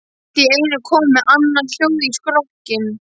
Það er allt í einu komið annað hljóð í strokkinn.